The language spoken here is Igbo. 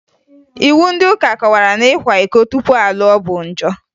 Iwu ndị ụka kọwara na ịkwa iko tupu a lụọ bụ njọ